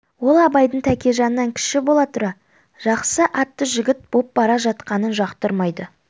ол абайдың тәкежаннан кіші бола тұра жақсы атты жігіт боп бара жатқанын жақтырмайды